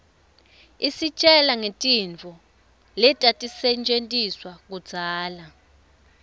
isitjela ngetintfo letatisetjentiswa kudzala